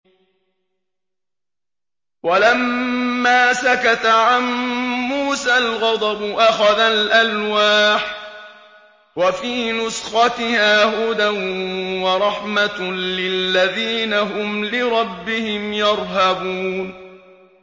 وَلَمَّا سَكَتَ عَن مُّوسَى الْغَضَبُ أَخَذَ الْأَلْوَاحَ ۖ وَفِي نُسْخَتِهَا هُدًى وَرَحْمَةٌ لِّلَّذِينَ هُمْ لِرَبِّهِمْ يَرْهَبُونَ